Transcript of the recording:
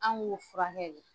An ko furakɛ de.